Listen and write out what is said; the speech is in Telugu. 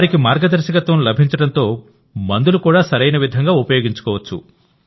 వారికి మార్గదర్శకత్వం లభించడంతో మందులు కూడా సరియన విధంగా ఉపయోగించుకోవచ్చు